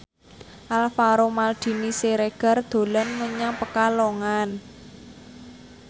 Alvaro Maldini Siregar dolan menyang Pekalongan